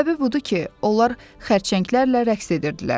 Səbəbi budur ki, onlar xərçənglərlə rəqs edirdilər.